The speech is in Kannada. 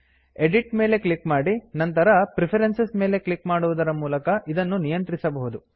ಎಡಿಟ್ ಎಡಿಟ್ ಮೇಲೆ ಕ್ಲಿಕ್ ಮಾಡಿ ನಂತರ ಪ್ರೆಫರೆನ್ಸಸ್ ಪ್ರಿಫರೆನ್ಸಸ್ ಮೇಲೆ ಕ್ಲಿಕ್ ಮಾಡುವುದರ ಮೂಲಕ ಇದನ್ನು ನಿಯಂತ್ರಿಸಬಹುದು